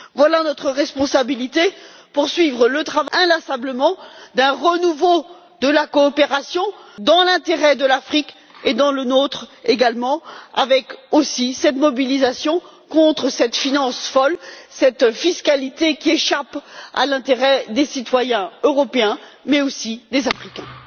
Voilà notre responsabilité poursuivre inlassablement le travail en faveur d'un renouveau de la coopération, dans l'intérêt de l'Afrique et dans le nôtre également, avec aussi une mobilisation contre cette finance folle, cette fiscalité qui échappe à l'intérêt des citoyens européens, mais aussi des Africains.